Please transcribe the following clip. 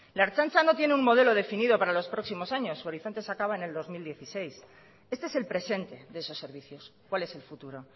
la ertzaintza no tiene un modelo definido para los próximos años su horizonte se acaba en el dos mil dieciséis este es el presente de esos servicios cuál es el futuro